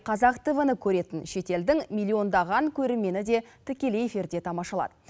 қазақ тв ны көретін шетелдің миллиондаған көрермені де тікелей эфирде тамашалады